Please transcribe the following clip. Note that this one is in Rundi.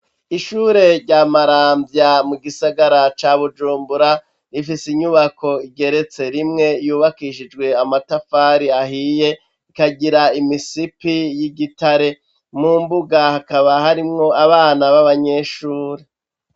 Ishure rya Maramvya mu gisagara ca Bujumbura rifise inyubako igeretse rimwe yubakishijwe amatafari ahiye ikagira imisipi y'igitare mu mbuga hakaba harimwo abana b'abanyeshuri.